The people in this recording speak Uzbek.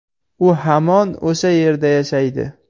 U hamon o‘sha yerda yashaydi.